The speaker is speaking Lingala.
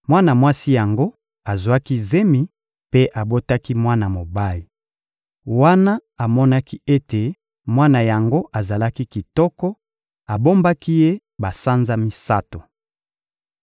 Mwana mwasi yango azwaki zemi mpe abotaki mwana mobali. Wana amonaki ete mwana yango azali kitoko, abombaki ye basanza misato.